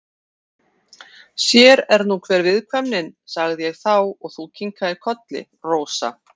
Sér er nú hver viðkvæmnin, sagði ég þá og þú kinkaðir kolli, Rósa.